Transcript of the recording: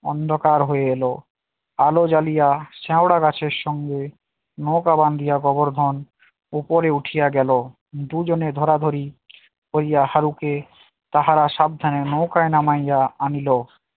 অন্ধকার হয়ে এলো, আলো জালিয়া শেওড়া গাছের সঙ্গে নৌকা বাধিয়া গোবরধন উপরে উঠিয়া গেল দুজনে ধরাধরি করিয়া হারুকে তাহারা সাবধানে নৌকায় নামায আনিলো